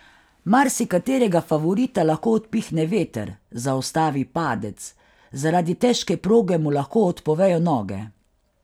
Marsikaterega favorita lahko odpihne veter, zaustavi padec, zaradi težke proge mu lahko odpovejo noge.